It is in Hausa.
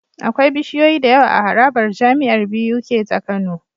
Akwai bishiyoyi da yawa a harabar jamiar Buk ta kano